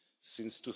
since